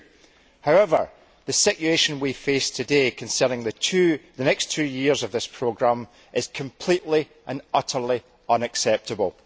2. However, the situation we face today concerning the next two years of this programme is completely and utterly unacceptable.